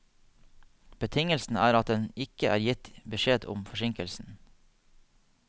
Betingelsen er at det ikke er gitt beskjed om forsinkelsen.